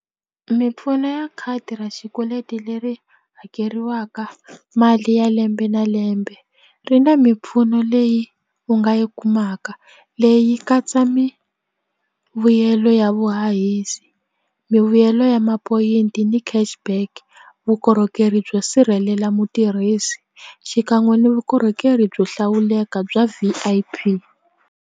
Mimpfuno ya khadi ra xikweleti leri hakeriwaka mali ya lembe na lembe ri na mimpfuno leyi u nga yi kumaka leyi katsa mivuyelo ya vuhahisi mivuyelo ya mapoyinti ni cash back vukorhokeri byo sirhelela mutirhisi xikan'we ni vukorhokeri byo hlawuleka bya V_I_P.